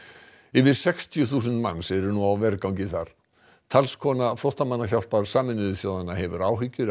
yfir sextíu þúsund manns eru nú á vergangi þar talskona flóttamannahjálpar Sameinuðu þjóðanna hefur áhyggjur